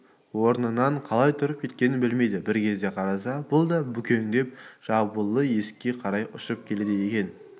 орнынан қалай тұрып кеткенін білмейді бір кезде қараса бұл да бүкеңдеп жабулы есікке қарай ұшып келеді екен